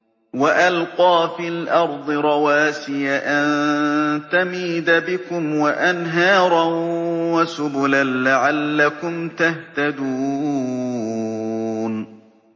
وَأَلْقَىٰ فِي الْأَرْضِ رَوَاسِيَ أَن تَمِيدَ بِكُمْ وَأَنْهَارًا وَسُبُلًا لَّعَلَّكُمْ تَهْتَدُونَ